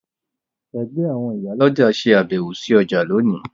Ẹgbẹ́ àwọn ìyálọ́jà ṣe àbẹ̀wò sí ọjà lónìí